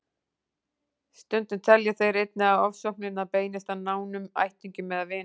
Stundum telja þeir einnig að ofsóknirnar beinist að nánum ættingjum eða vinum.